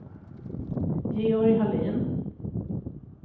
Georg Hallin